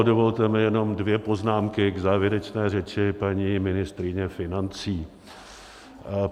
Dovolte mi jenom dvě poznámky k závěrečné řeči paní ministryně financí.